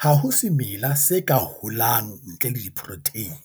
Ha ho semela se ka holang ntle le diprotheine.